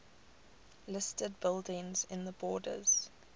listed buildings in the borders